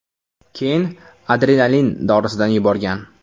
Keyin adrenalin dorisidan yuborgan.